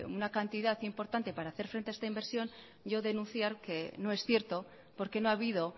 una cantidad importante para hacer frente a esta inversión yo denunciar que no es cierto porque no ha habido